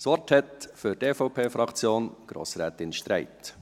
Das Wort hat für die EVPFraktion Grossrätin Streit.